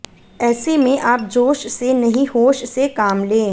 ऐसे में आप जोश से नहीं होश से काम लें